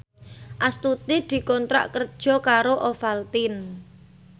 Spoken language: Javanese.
Astuti dikontrak kerja karo Ovaltine